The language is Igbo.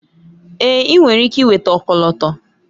Èé! ị nwere ike nweta ọkọlọtọ.